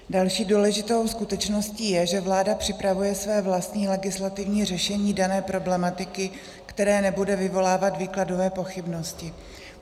Další důležitou skutečností je, že vláda připravuje své vlastní legislativní řešení dané problematiky, které nebude vyvolávat výkladové pochybnosti.